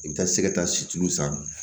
I bɛ taa se ka taa situlu san